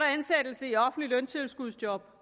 ansættelse i offentligt løntilskudsjob